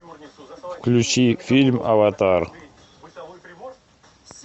включи фильм аватар